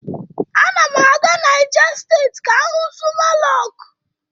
A na m aga Naijà State ka m hu Zuma Rọku